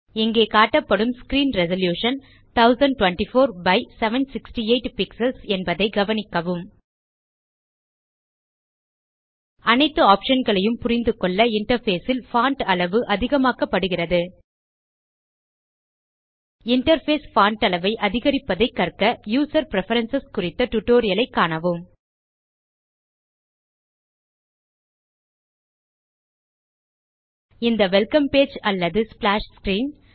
இங்கே காட்டப்படும் screen resolution 1024 by 768 pixels என்பதை கவனிக்கவும் அனைத்து ஆப்ஷன் களையும் புரிந்துகொள்ள இன்டர்ஃபேஸ் ல் பான்ட் அளவு அதிகமாக்கப்படுகிறது இன்டர்ஃபேஸ் பான்ட் அளவை அதிகரிப்பதைக் கற்க யூசர் பிரெஃபரன்ஸ் குறித்த டியூட்டோரியல் ஐ காணவும் இந்த வெல்கம் பேஜ் அல்லது ஸ்ப்ளாஷ் ஸ்க்ரீன்